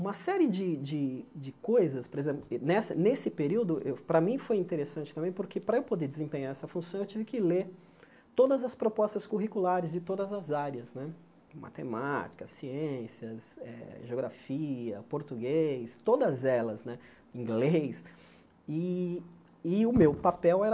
Uma série de de de coisas por exemplo, nessa nesse período, eu para mim foi interessante também, porque para eu poder desempenhar essa função, eu tive que ler todas as propostas curriculares de todas as áreas né, matemática, ciências, eh geografia, português, todas elas né, inglês, e e o meu papel era